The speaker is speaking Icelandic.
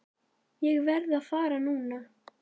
Ég verð að fara núna!